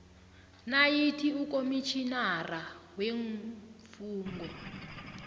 nayikuthi ukomitjhinara weemfungo